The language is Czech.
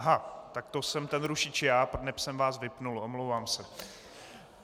Aha, tak to jsem ten rušič já, neb jsem vás vypnul, omlouvám se.